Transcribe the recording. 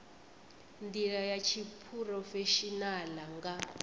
ndila ya tshiphurofeshinala na nga